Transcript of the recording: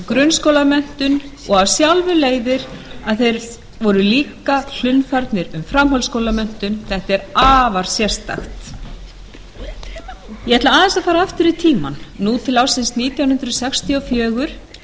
grunnskólamenntun og af sjálfu leiðir að þeir voru þá líka hlunnfarnir um framhaldsskólamenntun þetta er afar sérstakt ég ætla aðeins að fara aftur í tímann nú til ársins nítján hundruð sextíu og fjögur